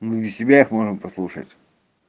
ну и себя их можно послушать